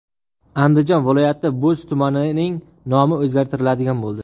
Andijon viloyati Bo‘z tumanining nomi o‘zgartiriladigan bo‘ldi .